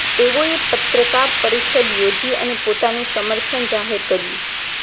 તેઓએ પત્રકાર પરિષદ યોજી અને પોતાનું સમર્થન જાહેર કર્યું